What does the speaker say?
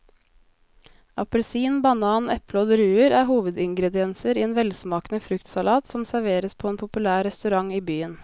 Appelsin, banan, eple og druer er hovedingredienser i en velsmakende fruktsalat som serveres på en populær restaurant i byen.